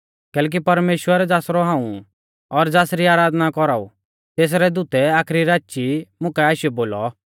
कैलैकि परमेश्‍वर ज़ासरौ हाऊं ऊ और ज़ासरी आराधना कौराऊ तेसरै दूतै आखरी राची मुकाऐ आशीयौ बोलौ